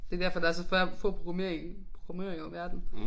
Det derfor der er så færre få programmere i programmører i verden